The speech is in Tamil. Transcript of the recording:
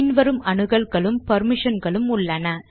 பின் வரும் அனுகல்களும் பெர்மிஷன்களும் உள்ளன